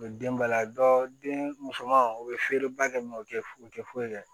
U bɛ den ba la dɔ den musoman u bɛ feere ba kɛ o tɛ u tɛ foyi kɛ